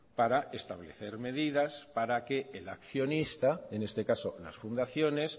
para establecer medidas para que el accionista en este caso las fundaciones